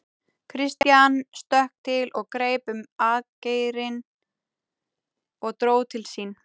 Christian stökk til og greip um atgeirinn og dró til sín.